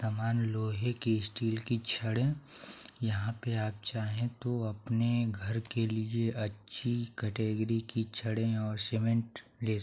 यह समान लोहे की स्टील की छड़े यहाँ पे आप चाहे तो अपने घर के लिए अच्छी कैटेगरी की छड़े और सीमेंट ले --